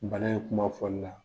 Bana in ye kuma fɔli la.